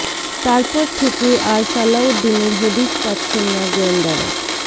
তার পর থেকে আর সালাউদ্দিনের হদিস পাচ্ছেন না গোয়েন্দারা